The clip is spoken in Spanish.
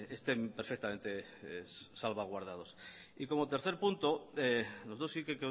estén perfectamente salvaguardados y como tercer punto nosotros sí que